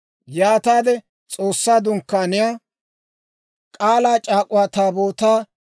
Yaataade S'oossaa Dunkkaaniyaa, K'aalaa c'aak'uwaa Taabootaa,